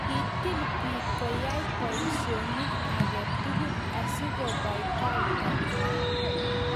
kitil biik koyai boisionik age tugul asikubai kaitang'wany